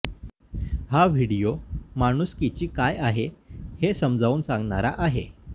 हा व्हिडीओ माणूसकीची काय आहे हे समजावून सांगणारा आहे